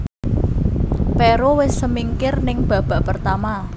Peru wis semingkir ning babak pertama